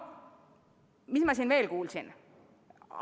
Mis ma siin veel kuulsin?